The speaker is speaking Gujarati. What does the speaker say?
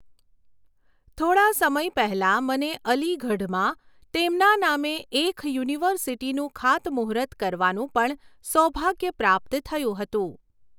થોડા સમય પહેલાં મને અલીગઢમાં તેમના નામે એખ યુનિવર્સિટીનું ખાતમૂહુર્ત કરવાનું પણ સૌભાગ્ય પ્રાપ્ત થયું હતું.